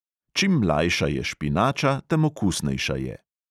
Čim mlajša je špinača, tem okusnejša je.